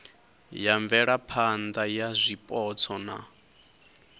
ya mvelaphana ya zwipotso na